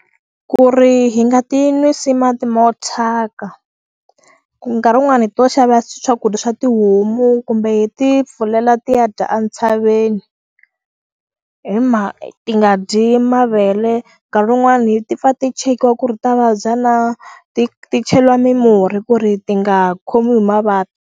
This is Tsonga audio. Ku ri hi nga ti nwisi mati mo thyaka ku nkarhi wun'wani hi to xava swakudya swa tihomu kumbe hi ti pfulela tiya dya a ntshaveni hi ma ti nga dyi mavele nkarhi wun'wani ti pfa ti chekiwa ku ri ta vabya na ti ti cheliwa mimurhi ku ri ti nga khomiwi hi mavabyi.